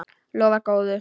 Lofar góðu.